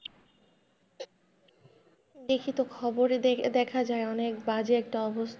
দেখি তো খবরে দেখা যায় অনেক বাজে একটা অবস্থা।